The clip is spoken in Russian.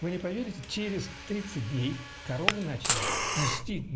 вы не поверите через тридцать дней коровы начали нести